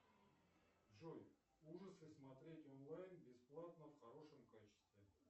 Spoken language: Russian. джой ужасы смотреть онлайн бесплатно в хорошем качестве